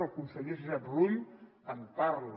el conseller josep rull en parla